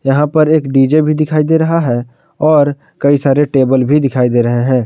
यहां पर एक डी_जे भी दिखाई दे रहा है और कई सारे टेबल भी दिखाई दे रहे हैं।